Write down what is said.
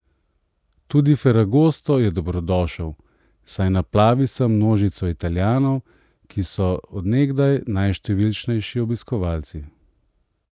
Tudi ferragosto je dobrodošel, saj naplavi sem množico Italijanov, ki so od nekdaj najštevilnejši obiskovalci.